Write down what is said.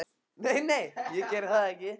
Nei, nei, ég geri það ekki.